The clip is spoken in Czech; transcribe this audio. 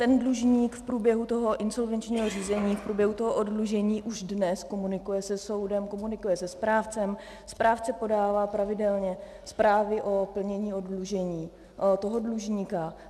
Ten dlužník v průběhu toho insolvenčního řízení, v průběhu toho oddlužení už dnes komunikuje se soudem, komunikuje se správcem, správce podává pravidelně zprávy o plnění oddlužení toho dlužníka.